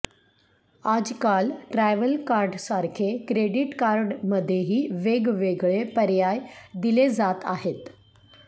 आजकाल ट्रॅव्हल कार्डसारखे क्रेडिट कार्डमध्येही वेगवेगळे पर्याय दिले जात आहेत